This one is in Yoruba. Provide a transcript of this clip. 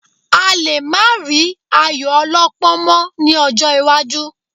A lè má rí ayò ọlọ́pọ́n mọ́ ní ọjọ́ iwájú